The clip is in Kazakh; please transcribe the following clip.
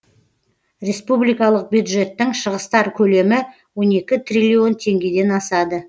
республикалық бюджеттің шығыстар көлемі он екі триллион теңгеден асады